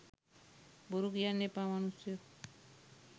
බොරු කියන්න එපා මනුස්සයෝ.